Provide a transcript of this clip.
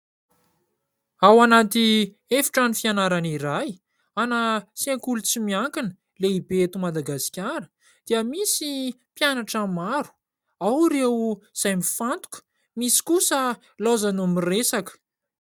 Ao anaty efitrano fianarana iray an'ny sekoky tsy miankina lehibe eto Madagasikara dia misy mpianatra maro, ao ireo izay mifantoka, misy kosa ilaozany miresaka.